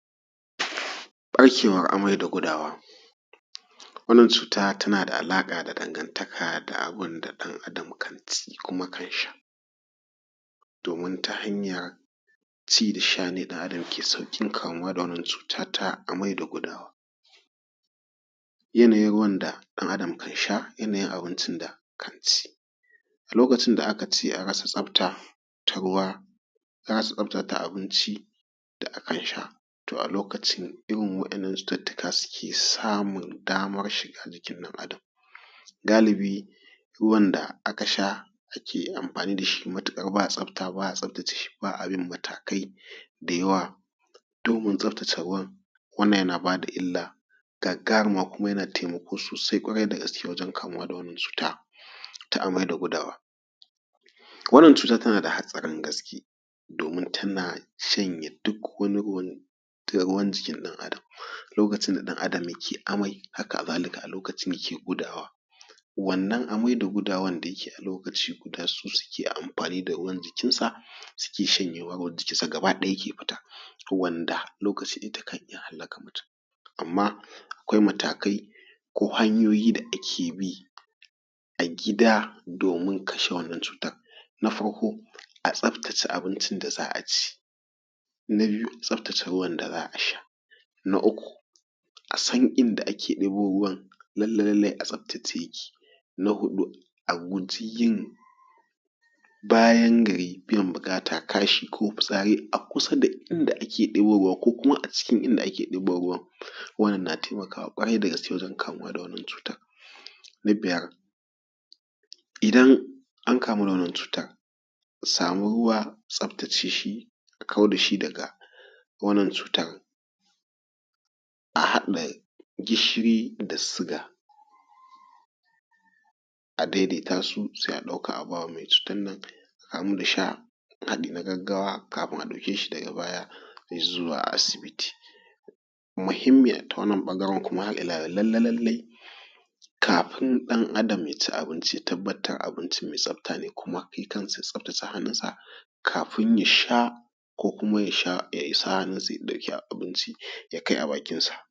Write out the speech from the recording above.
Ɗaukewan amai da gudawa, wannan cuta tana da alaƙa da dangantaka da abunda ɗan Adam kan ci kuma kan sha, domin ta hanyar ci da sha ne ɗan adam ke sauƙin kamuwa da cuta ta amai da gudawa. Yanayin ruwan da ɗan adam kan sha yanayin abincin da kan ci lokacin da aka ce an rasa tsafta ta ruwa an rasa tsafta ta abinci da a kan sha, to a lokacin irin wa’innan cututtuka suke samun damar shiga jikin ɗan adam. Galibi ruwan da aka sha ake amfani dashi matuƙar ba tsafta ba’a tsaftace shi ba’a bin matakai dayawa domin tsaftace ruwan wannan yana bada illa gagaruma kuma yana taimako sosai ƙwarai da gaske wajen kamuwa da wannan cuta ta amai da gudawa. Wannan cuta tana da hatsarin gaske domin tana shanye duk wani ruwan duk ruwan jikin ɗan adam lokacin da ɗan adam ke amai haka zalika a lokacin yake gudawa. Wannan amai da gudawan da yake a lokaci guda su suke amfani da ruwan jikin sa suke shanyewa ruwan jikin sa gaba ɗaya yake fita wanda lokaci takan iya hallaka mutum. Amma akwai matakai ko hanyoyi da ake bi a gida domin kashe wannan cutan. Na farko a tsaftace abincin da za’a ci. Na biyu tsaftace ruwan da za’a sha. Na uku a san inda ake ɗebo ruwan lalla lallai a tsaftace yake. Na huɗu a guji yin bayan gari biyan buƙata kashi ko fitsari a kusa da inda ake ɗebo ruwa ko kuma a cikin inda ake ɗebo ruwan wannan na taimakawa ƙwarai da gaske wajen kamuwa da wannan cutan. Na biyar idan an kamu da wannan cutar a samu ruwa tsaftace shi a kau dashi daga wannan cutan, a haɗa gishiri da siga a daidaita su sai a ɗauka a bawa mai cutan nan da sha haɗi na gaggawa kafin a ɗauke shi daga baya i zuwa asibiti. Muhimmin ta wannan ɓangaren kuma har ila lalla lallai kafin ɗan adam ya ci abinci tabbatar abinci mai tsafta ne kuma shi kansa tsaftace hannun sa kafin ya sha ko kuma ya sha ya sa hannun sa ya ɗauki abinci ya kai a bakin sa.